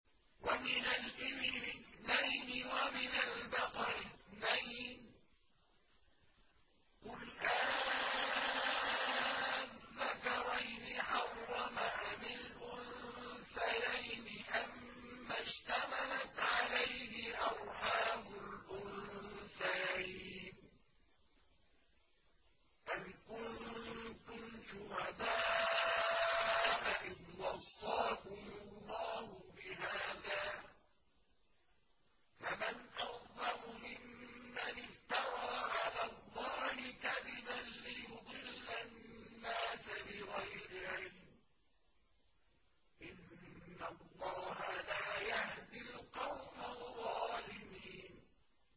وَمِنَ الْإِبِلِ اثْنَيْنِ وَمِنَ الْبَقَرِ اثْنَيْنِ ۗ قُلْ آلذَّكَرَيْنِ حَرَّمَ أَمِ الْأُنثَيَيْنِ أَمَّا اشْتَمَلَتْ عَلَيْهِ أَرْحَامُ الْأُنثَيَيْنِ ۖ أَمْ كُنتُمْ شُهَدَاءَ إِذْ وَصَّاكُمُ اللَّهُ بِهَٰذَا ۚ فَمَنْ أَظْلَمُ مِمَّنِ افْتَرَىٰ عَلَى اللَّهِ كَذِبًا لِّيُضِلَّ النَّاسَ بِغَيْرِ عِلْمٍ ۗ إِنَّ اللَّهَ لَا يَهْدِي الْقَوْمَ الظَّالِمِينَ